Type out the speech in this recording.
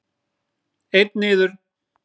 Einn niður.